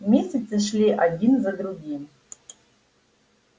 месяцы шли один за другим